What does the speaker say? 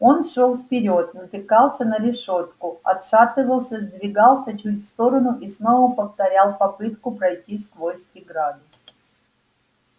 он шёл вперёд натыкался на решётку отшатывался сдвигался чуть в сторону и снова повторял попытку пройти сквозь преграду